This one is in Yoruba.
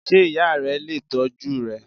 Sé ìya re lè tójú rẹ?